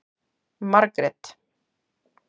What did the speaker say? Margrét